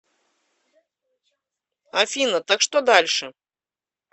афина так что дальше